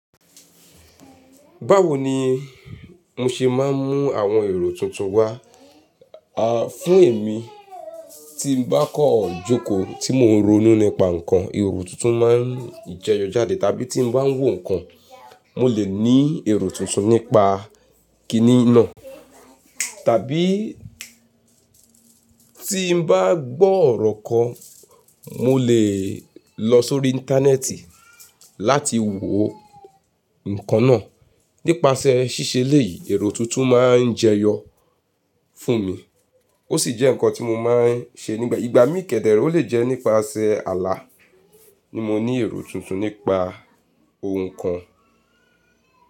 Báwo ni mo ṣe máa ń mú àwọn èrò tuntun wá?, àh, fún èmi tí mo bá kan jókòó tí mo ń ronú nípa nǹkan, èrò tuntun máa ń jẹyọ jáde. Tàbí tí mo bá ń wò nǹkan, mo lè ní èrò tuntun nípa kiní náà. Tàbí tí mo bá gbọ́ ọ̀rọ̀ kan, mo lè lọ sórí Íńtánẹ́ẹ̀tì láti wo nǹkan náà. Nípasẹ̀ ṣíṣe eleyìí, èrò tuntun máa ń jẹyọ fún mi. Ó sì jẹ́ nǹkan tí mo máa ń ṣe nígbà ìgbà mí kẹdẹ̀ re o lè jẹ́ nípasẹ̀ ààlà ni mo ní èrò tuntun nípa ohun kan.